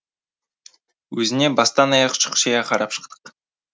өзіне бастан аяқ шұқшия қарап шықтық